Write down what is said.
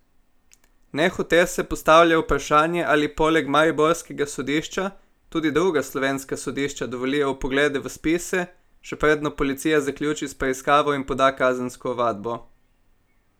Nehote se postavlja vprašanje ali poleg mariborskega sodišča tudi druga slovenska sodišča dovolijo vpoglede v spise, še predno policija zaključi s preiskavo in poda kazensko ovadbo.